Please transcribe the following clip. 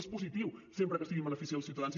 és positiu sempre que sigui en benefici dels ciutadans